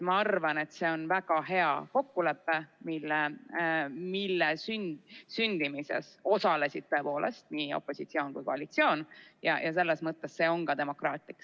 Ma arvan, et see on väga hea kokkulepe, mille sündimises osalesid tõepoolest nii opositsioon kui ka koalitsioon, ja selles mõttes see on ka demokraatlik.